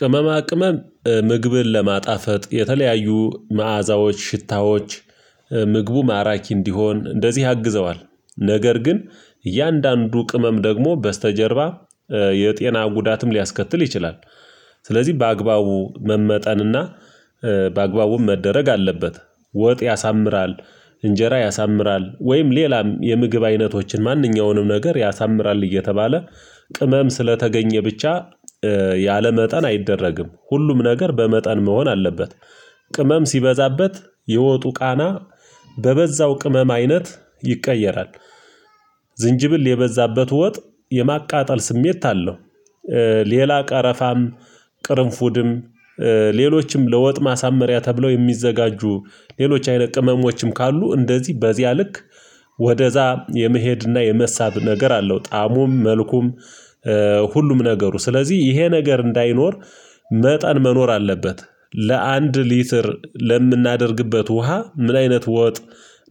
ቅመማ ቅመም ምግብን ለማጣፈጥ የተለያዩ መዓዛዎች ሽታዎች ምግቡ ማራኪ እንዲሆን እንደዚህ ያግዘዋል ነገር ግን እያንዳንዱ ቅመም ደግሞ በስተጀርባ የጤና ጉዳትም ሊያስከትል ይችላል። ስለዚህ በአግባቡ መመጠንና በአግባቡም መደረግ አለበት። ወጥ ያሳምራል እንጀራ ያሳምራል ወይም ሌላም የምግብ አይነቶችን ማንኛውንም ነገር ያሳምራል እየተባለ ቅመም ስለተገኘ ብቻ ያለመጠን አይደረግም ሁሉም ነገር በመጠን መሆን አለበት፤ ቅመም ሲበዛበት የወጡ ቃና በበዛው ቅመም አይነት ይቀየራል፤ ዝንጅብል የበዛበት ወጥ የማቃጠል ስሜት አለው፤ ሌላ ቀረፋም ቅርንፉድም ሌሎችም ለወጥ ማሳመሪያ ተብለው የሚዘጋጁ ሌሎች አይነት ቅመሞችም ካሉ እንደዚህ በዚያ ልክ ወደዛ የመሄድና የመሳብ ነገር አለው ጣሙም መልኩም ሁሉም ነገሩ ስለዚህ ይሄ ነገር እንዳይኖር መጠን መኖር አለበት። ለአንድ ሊትር ለምናደርግበት ውሃ ምን አይነት ወጥ